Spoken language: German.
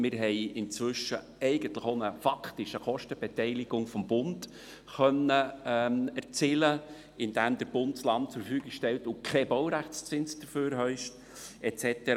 Wir haben inzwischen eigentlich faktisch auch eine Kostenbeteiligung des Bundes erzielen können, indem der Bund das Land zur Verfügung stellt und keinen Baurechtszins dafür verlangt et cetera.